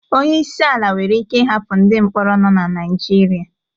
Onye isi ala nwere ike ịhapụ ndị mkpọrọ nọ na Naịjirịa